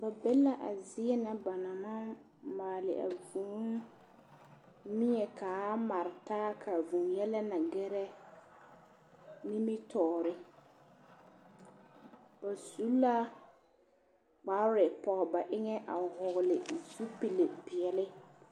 Ba be la a zie na ba na maŋ maale a vūūmie ka a mare taa ka a vūū yɛlɛ na ɡɛrɛ nimitɔɔre ba su la kapre pɔɡe ba eŋɛ a vɔɔle zupile peɛle.